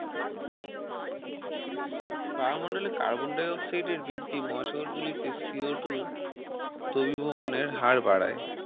বায়ুমন্ডলে Carbon dioxide এর বৃদ্ধি মহাসাগর গুলিতে Co two দ্রবিভবনের হার বাড়ায়